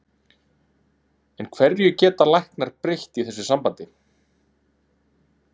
En hverju geta læknar breytt í þessu sambandi?